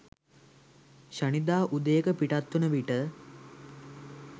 ශනිදා උදයක පිටත් වන විට